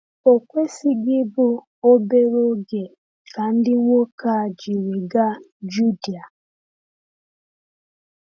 O kwesịghị ịbụ obere oge ka ndị nwoke a jiri gaa Judea.